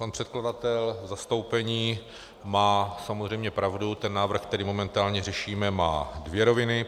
Pan předkladatel v zastoupení má samozřejmě pravdu, ten návrh, který momentálně řešíme, má dvě roviny.